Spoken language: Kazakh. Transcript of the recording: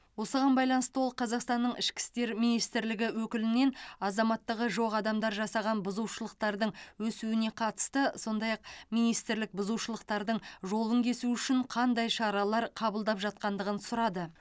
осыған байланысты ол қазақстанның ішкі істер министрлігі өкілінен азаматтығы жоқ адамдар жасаған бұзушылықтардың өсуіне қатысты сондай ақ министрлік бұзушылықтардың жолын кесу үшін қандай шаралар қабылдап жатқандығын сұрады